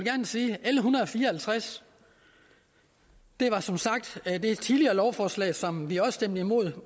hundrede og fire og halvtreds er som sagt et tidligere lovforslag som vi stemte imod